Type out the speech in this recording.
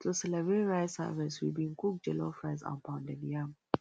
to celebrate rice harvest we bin cook jollof rice and pounded yam